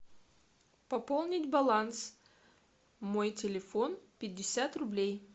пополнить баланс мой телефон пятьдесят рублей